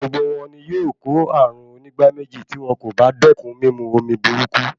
Gbogbo wọn ni yóò kó ààrùn onígbáméjì tí wọn kò bá dékun mímu omi burúkú.